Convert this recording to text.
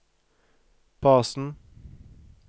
basen